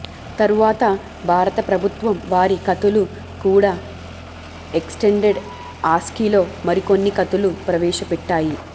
తరువాత భారత ప్రభుత్త్వం వారి ఖతులు కూడా ఎక్స్టెండెడ్ ఆస్కీలో మరికొన్ని ఖతులు ప్రవేశ పెట్టాయి